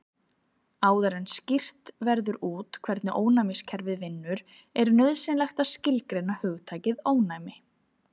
Áður en skýrt verður út hvernig ónæmiskerfið vinnur er nauðsynlegt að skilgreina hugtakið ónæmi.